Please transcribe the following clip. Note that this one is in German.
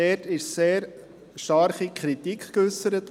Dort wurde sehr starke Kritik geäussert.